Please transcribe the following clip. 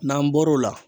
N'an bɔr'o la